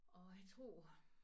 Og jeg tror